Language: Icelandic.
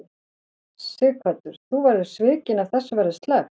Sighvatur: Þú verður svikin ef þessu verður sleppt?